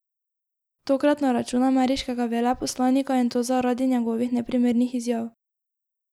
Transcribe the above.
Tokrat na račun ameriškega veleposlanika, in to zaradi njegovih neprimernih izjav.